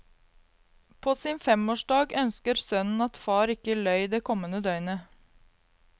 På sin femårsdag ønsker sønnen at far ikke løy det kommende døgnet.